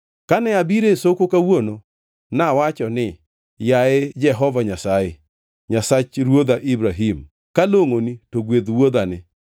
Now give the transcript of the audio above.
“Kane abiro e soko kawuono, nawacho ni, ‘Yaye Jehova Nyasaye, Nyasach ruodha Ibrahim, kalongʼoni, to gwedh wuodhani.